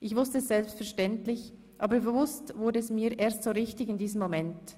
Ich wusste es selbstverständlich, aber bewusst wurde es mir erst so richtig in diesem Moment: